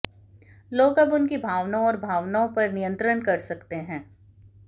लोग अब उनकी भावनाओं और भावनाओं पर नियंत्रण कर सकते हैं